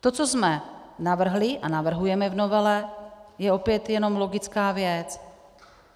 To, co jsme navrhli a navrhujeme v novele, je opět jenom logická věc.